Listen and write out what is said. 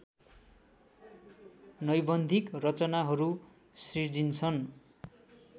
नैबन्धिक रचनाहरू सिर्जिन्छन्